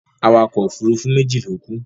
Awakọ̀ òfurufú méjì ló kú.